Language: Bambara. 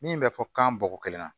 Min bɛ fɔ kan bɔko kelen na